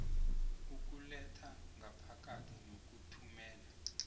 ukuletha ngaphakathi nokuthumela